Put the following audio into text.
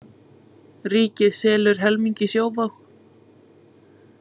Ríkið selur helming í Sjóvá